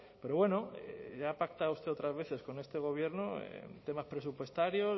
pero bueno ya ha pactado usted otras veces con este gobierno en temas presupuestarios